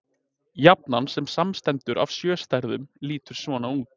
Jafnan, sem samanstendur af sjö stærðum, lítur svona út: